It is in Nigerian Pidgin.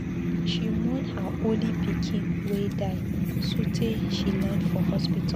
She mourn her only pikin wey die sotee she land for hospital.